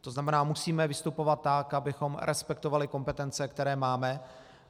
To znamená, musíme vystupovat tak, abychom respektovali kompetence, které máme.